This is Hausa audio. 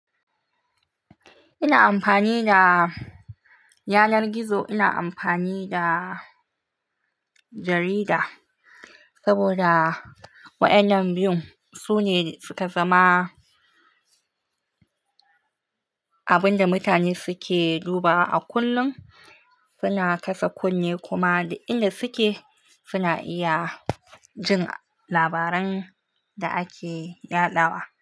Ina amfani da yanar gizo, ina amfani da jarida saboda wa'innan biyun sune suka zama abin da mutane suke duba wa a kullum, suna kasa kunne kuma da inda suke suna iya jin labaran da ake yaɗawa.